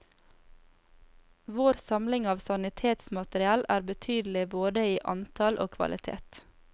Vår samling av sanitetsmateriell er betydelig både i antall og kvalitet.